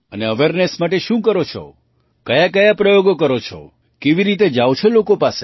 અને અવેરનેસ માટે શું કરો છો કયાકયા પ્રયોગ કરો છો કેવી રીતે જાવ છો લોકો પાસે